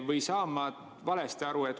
Või saan ma valesti aru?